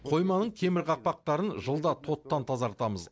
қойманың темір қақпақтарын жылда тоттан тазартамыз